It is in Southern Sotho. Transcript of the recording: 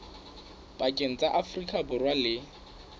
pakeng tsa afrika borwa le